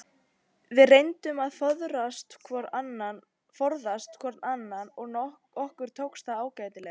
Við reyndum að forðast hvor annan og okkur tókst það ágætlega.